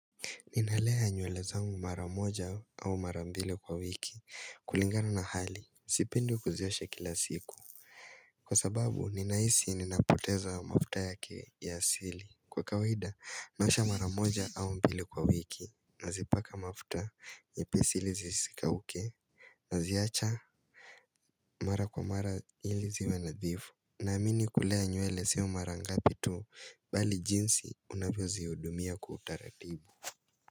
Ninalea nywele zangu mara moja au mara mbili kwa wiki kulingana na hali, sipendi kuziosha kila siku Kwa sababu, ninahisi ninapoteza mafuta yake ya asili Kwa kawaida, naosha mara moja au mbili kwa wiki Nazipaka mafuta, nyepesi ili zisikauke Naziacha mara kwa mara ili ziwe nadhifu Naamini kulea nywele siyo mara ngapi tu Bali jinsi unavyozihudumia kwa utaratibu.